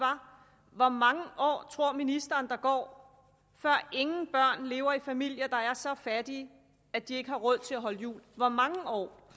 var hvor mange år tror ministeren der går før ingen børn lever i familier der er så fattige at de ikke har råd til at holde jul hvor mange år